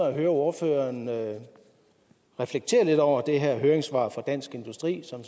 at høre ordføreren reflektere lidt over det her høringssvar fra dansk industri som